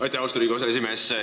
Aitäh, austatud Riigikogu aseesimees!